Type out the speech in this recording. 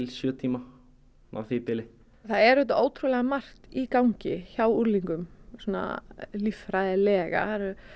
sjö tíma á því bili það er auðvitað margt í gangi hjá unglingum svona líffræðilega